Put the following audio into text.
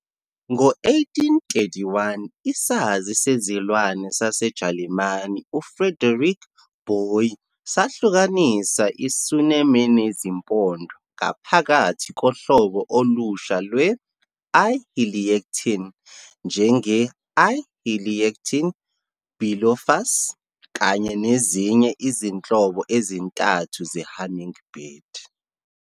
Ngo-1831, isazi sezilwane saseJalimane UFriedrich Boie sahlukanisa i-sunem enezimpondo ngaphakathi kohlobo olusha lwe-"I-heliactin", njenge-"I-Heliactin bilophus", kanye nezinye izinhlobo ezintathu ze-hummingbird.